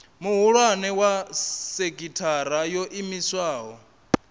muhulwane wa sekithara yo iimisaho